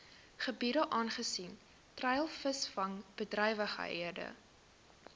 gebiede aangesien treilvisvangbedrywighede